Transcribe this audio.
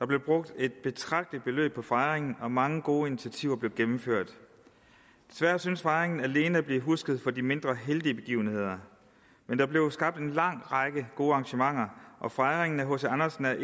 blev brugt et betragteligt beløb på fejringen og mange gode initiativer blev gennemført desværre synes fejringen alene at blive husket for de mindre heldige begivenheder men der blev skabt en lang række gode arrangementer og fejringen af hc andersen er